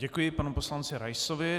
Děkuji panu poslanci Raisovi.